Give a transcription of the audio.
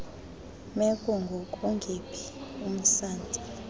meko ngokungephi umsantsa